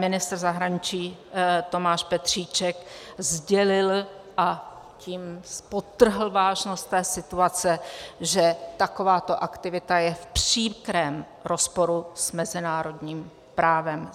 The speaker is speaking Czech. Ministr zahraničí Tomáš Petříček sdělil, a tím podtrhl vážnost té situace, že takováto aktivita je v příkrém rozporu s mezinárodním právem.